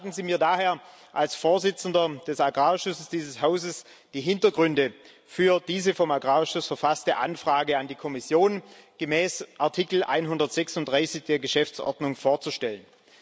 Gestatten Sie mir als Vorsitzendem des Agrarausschusses dieses Hauses, die Hintergründe für diese vom Agrarausschuss verfasste Anfrage an die Kommission gemäß Artikel 136 der Geschäftsordnung vorzustellen.